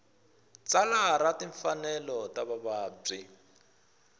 tsalwa ra timfanelo ta vavabyi